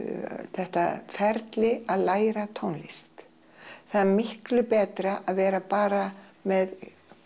þetta ferli að læra tónlist það er miklu betra að vera bara með